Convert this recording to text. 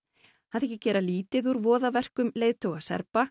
hann þykir gera lítið úr voðaverkum leiðtoga Serba